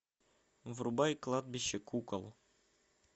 врубай кладбище кукол